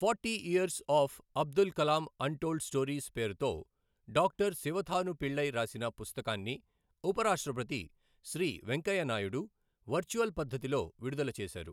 Forty years of Abdul Kalam untold stories, పేరుతో doctor Sivathanu Pillai రాసిన పుస్తకాన్ని ఉపరాష్ట్రపతి శ్రీ వెంకయ్యనాయుడు వర్చువల్ పద్ధతిలో విడుదల చేశారు.